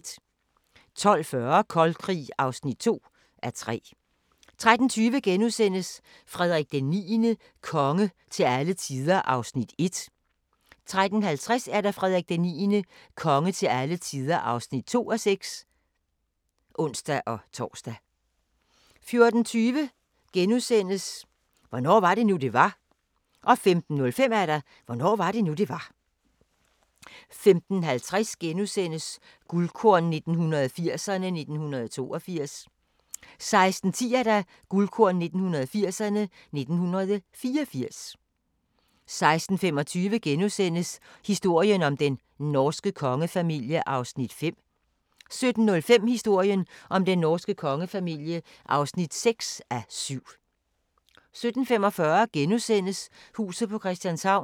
12:40: Kold Krig (2:3) 13:20: Frederik IX – konge til alle tider (1:6)* 13:50: Frederik IX – konge til alle tider (2:6)(ons-tor) 14:20: Hvornår var det nu, det var? * 15:05: Hvornår var det nu, det var? 15:50: Guldkorn 1980'erne: 1982 * 16:10: Guldkorn 1980'erne: 1984 16:25: Historien om den norske kongefamilie (5:7)* 17:05: Historien om den norske kongefamilie (6:7) 17:45: Huset på Christianshavn *